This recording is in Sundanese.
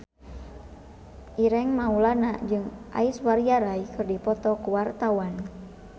Ireng Maulana jeung Aishwarya Rai keur dipoto ku wartawan